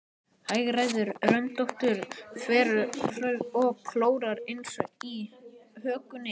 Hagræðir röndóttri þverslaufu og klórar sér á hökunni.